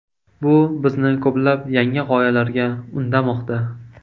Bu bizni ko‘plab yangi g‘oyalarga undamoqda.